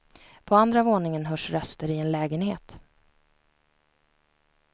På andra våningen hörs röster i en lägenhet.